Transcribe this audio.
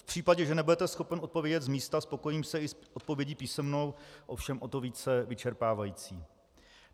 V případě, že nebudete schopen odpovědět z místa, spokojím se i s odpovědí písemnou, ovšem o to více vyčerpávající.